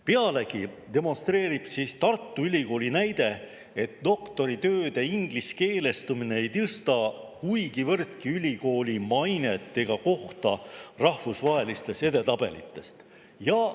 Pealegi demonstreerib Tartu Ülikooli näide, et doktoritööde ingliskeelestumine ei tõsta kuigivõrd ülikooli mainet ega kohta rahvusvahelistes edetabelites.